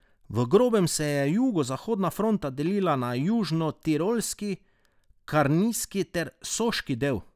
V grobem se je jugozahodna fronta delila na južnotirolski, karnijski ter soški del.